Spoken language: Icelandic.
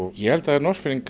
ég held að